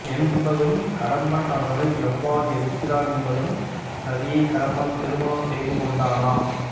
என்பதும் கடம்பன் அவர்களை எவ்வாறு எதிர்க்கிறான் என்பதும் ரதியை கடம்பன் திருணம் செய்து கொண்டானா